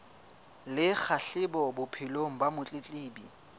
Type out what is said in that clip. le kgahleho bophelong ba motletlebi